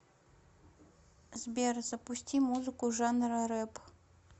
сбер запусти музыку жанра рэп